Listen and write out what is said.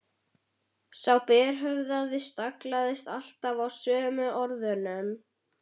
Sá berhöfðaði staglaðist alltaf á sömu orðunum